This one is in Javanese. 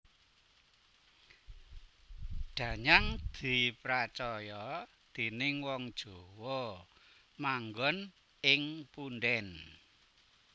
Danyang dipracaya déning wong Jawa manggon ing punden